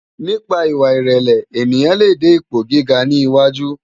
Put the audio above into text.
Nipá iwá irèlè éniyán lé dé ipó gigá ni áwújò